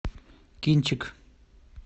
кинчик